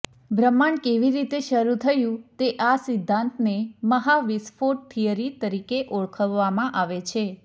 બ્રહ્માંડ કેવી રીતે શરૂ થયું તે આ સિદ્ધાંતને મહાવિસ્ફોટ થિયરી તરીકે ઓળખવામાં આવે છે